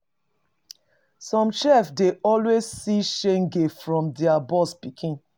Some chef dey always see shege from their boss pikin